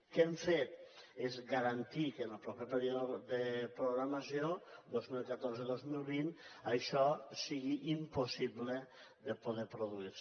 què hem fet garantir que en el proper període de programació dos mil catorze dos mil vint això sigui impossible de poder produir se